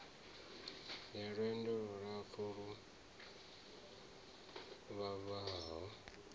ya lwendo lulapfu lu vhavhaho